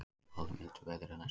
Spáð er mildu veðri næstu daga